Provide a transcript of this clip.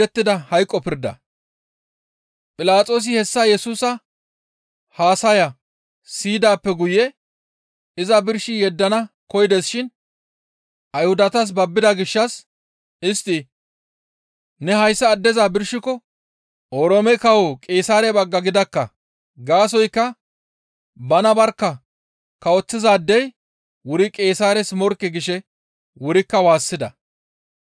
Philaxoosi hessa Yesusa haasaya siyidaappe guye iza birshi yeddana koyides shin Ayhudatas babbida gishshas istti, «Ne hayssa addeza birshiko Oroome Kawo Qeesaare bagga gidakka; gaasoykka bana barkka kawoththizaadey wuri Qeesaares morkke» gishe wurikka waassida.